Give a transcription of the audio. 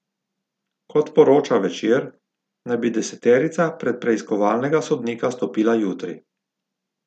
Kot poroča Večer, naj bi deseterica pred preiskovalnega sodnika stopila jutri.